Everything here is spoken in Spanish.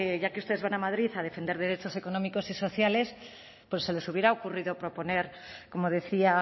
ya que ustedes van a madrid a defender derechos económicos y sociales pues se les hubiera ocurrido proponer como decía